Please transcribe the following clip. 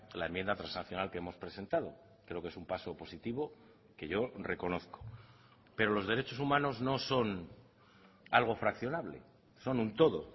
la enmienda transaccional que hemos presentado creo que es un paso positivo que yo reconozco pero los derechos humanos no son algo fraccionable son un todo